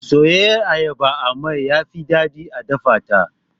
Soyayyiyar ayaba a mai yafi daɗi da a dafata.